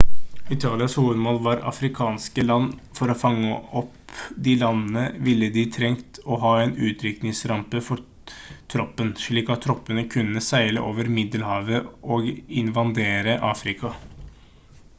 italias hovedmål var afrikanske land for å fange opp de landene ville de trengt å ha en utskytningsrampe for troppen slik at troppene kunne seile over middelhavet og invadere afrika